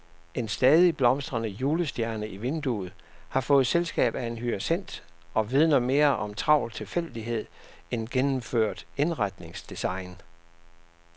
En stadig blomstrende julestjerne i vinduet har fået selskab af en hyacint og vidner mere om travl tilfældighed end gennemført indretningsdesign.